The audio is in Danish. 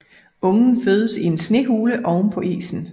Ungen fødes i en snehule ovenpå isen